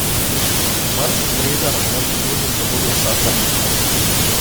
Martin Brezar naj bi z nožem zabodel Saša Petka.